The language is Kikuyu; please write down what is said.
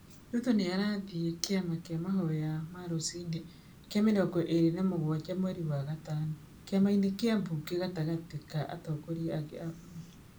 Ruto nĩ arathiĩ kĩama kĩa mahoya ma rũcinĩ kĩa mĩrongo ĩri na mũgwaja mweri wa gatano Kĩamainĩ kĩa Bunge gatagatĩ ka atongoria angĩ a bũrũri.